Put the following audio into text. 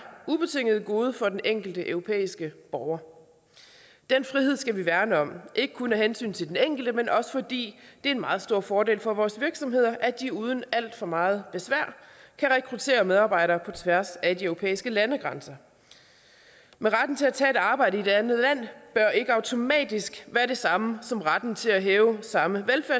ubetinget gode for den enkelte europæiske borger den frihed skal vi værne om ikke kun af hensyn til den enkelte men også fordi det er en meget stor fordel for vores virksomheder at de uden alt for meget besvær kan rekruttere medarbejdere på tværs af de europæiske landegrænser men retten til at tage et arbejde i et andet land bør ikke automatisk være det samme som retten til at hæve samme